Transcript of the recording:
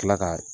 Kila ka